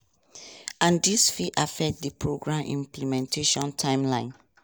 and dis fit affect di program implementation timeline.